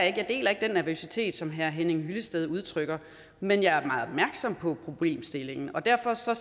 ikke jeg deler ikke den nervøsitet som herre henning hyllested udtrykker men jeg er meget opmærksom på problemstillingen derfor ser